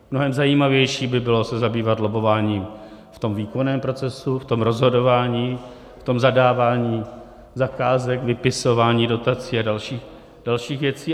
Mnohem zajímavější by bylo se zabývat lobbováním v tom výkonném procesu, v tom rozhodování, v tom zadávání zakázek, vypisování dotací a dalších věcí.